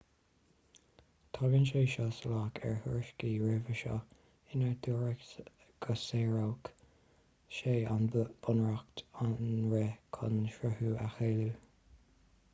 tagann sé seo salach ar thuairiscí roimhe seo inar dúradh go sáródh sé an bunreacht an rith chun srutha a chealú